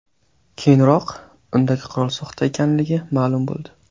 Keyinroq, undagi qurol soxta ekanligi ma’lum bo‘ldi.